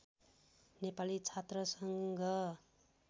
नेपाली छात्र सङ्घ